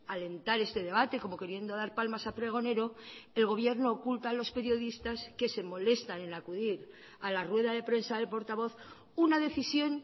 alentar este debate como queriendo dar palmas a pregonero el gobierno oculta a los periodistas que se molestan en acudir a la rueda de prensa del portavoz una decisión